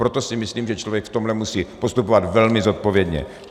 Proto si myslím, že člověk v tomhle musí postupovat velmi zodpovědně.